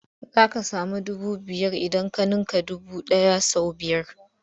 Za ka samu dubu biyar idan ka ninka dubu ɗaya sau biyar.